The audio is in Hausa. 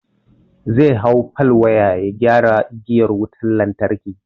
Zai hau fal waya ya gyara igiyar wutan lantarki.